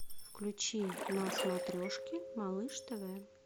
включи на смотрешке малыш тв